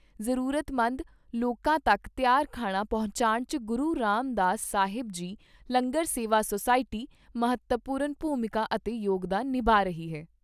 ਜ਼ਰੂਰਤਮੰਦ ਲੋਕਾਂ ਤੱਕ ਤਿਆਰ ਖਾਣਾ ਪਹੁੰਚਾਣ 'ਚ ਗੁਰੂ ਰਾਮ ਦਾਸ ਸਾਹਿਬ ਜੀ ਲੰਗਰ ਸੇਵਾ ਸੋਸਾਇਟੀ ਮਹੱਤਵਪੂਰਨ ਭੂਮਿਕਾ ਅਤੇ ਯੋਗਦਾਨ ਨਿਭਾ ਰਹੀ ਐ।